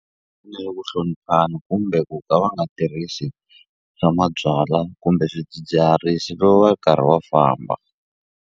ku hloniphana kumbe ku ka va nga tirhisi swa mabyalwa kumbe swidzidziharisi loko va ri karhi va famba.